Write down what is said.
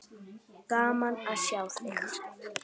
Gaman að sjá þig hér!